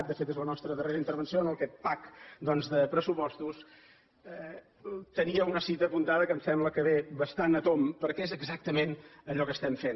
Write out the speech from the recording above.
de fet és la nostra darrera intervenció en aquest pack doncs de pressupostos tenia una cita apuntada que em sembla que ve bastant a tomb perquè és exactament allò que estem fent